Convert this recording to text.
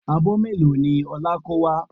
Abọ́ mélòó ni Ọlá kó wá?